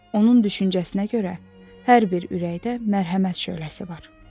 Onun düşüncəsinə görə hər bir ürəkdə mərhəmət şöləsi var.